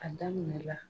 A daminɛ la